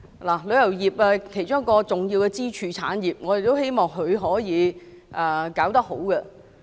旅遊業是香港一個重要的支柱產業，我們希望可以做得好。